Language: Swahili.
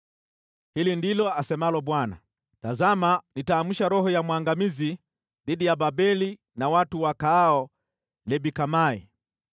Hili ndilo asemalo Bwana : “Tazama nitaamsha roho ya mwangamizi dhidi ya Babeli na watu wakaao Leb-Kamai.